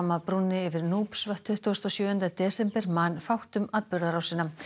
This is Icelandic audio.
af brúnni yfir tuttugasta og sjöunda desember man fátt um atburðarásina